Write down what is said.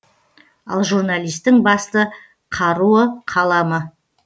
ал журналистің басты қаруы қаламы